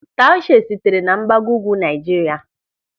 Taushe sitere na Mgbagougwu Naịjirịa.